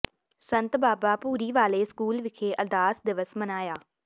ਸੰਤ Baba Bhuri Wale school ਵਿਖੇ ਅਰਦਾਸ ਦਿਵਸ ਮਨਾਇਆ